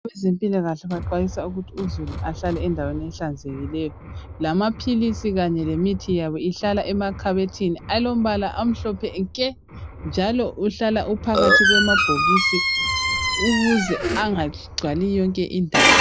Abezempilakahle baxwayisa ukuthi uzulu ahlale endaweni ehlanzekileyo lamaphilisi kanye lemithi yabo ihlala emakhabothini alombala omhlophe nke njalo uhlala uphakathi kwamabhokisi ukuze angagcwali yonke indawo